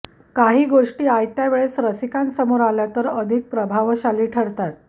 काही गोष्टी आयत्या वेळेस रसिकांसमोर आल्या तर अधिक प्रभावशाली ठरतात